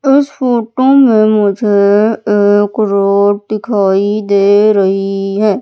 इस फोटो में मुझे एक रोड दिखाई दे रही है।